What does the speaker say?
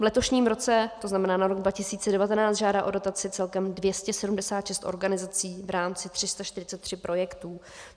V letošním roce, to znamená na rok 2019, žádá o dotace celkem 276 organizací v rámci 343 projektů.